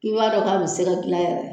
K'i b'a dɔn k'a be se ka gilan yɛrɛ